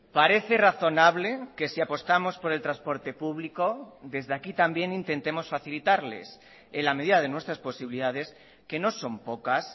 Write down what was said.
parece razonable que si apostamos por el transporte público desde aquí también intentemos facilitarles en la medida de nuestras posibilidades que no son pocas